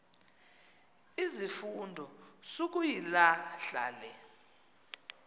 izifundo sukuyilahla le